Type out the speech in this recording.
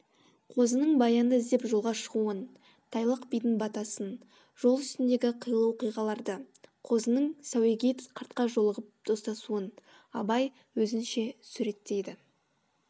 қозының баянды іздеп жолға шығуын тайлақ бидің батасын жол үстіндегі қилы оқиғаларды қозының сәуегей қартқа жолығып достасуын абай өзінше суреттейді